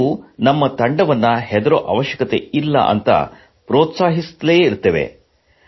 ನಾವು ನಮ್ಮ ತಂಡವನ್ನು ಹೆದರುವ ಅವಶ್ಯಕತೆ ಇಲ್ಲ ಎಂದು ಪೆÇ್ರೀತ್ಸಾಹಿಸುತ್ತಲೇ ಇರುತ್ತೇವೆ